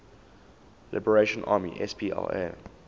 liberation army spla